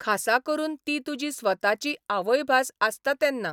खासा करून ती तुजी स्वताची आवयभास आसता तेन्ना.